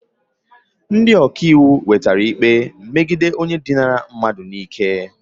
Ndị ọka iwu nwetara ikpe megide onye dinara mmadụ n'ike